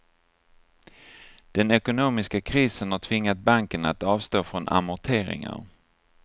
Den ekonomiska krisen har tvingat banken att avstå från amorteringar.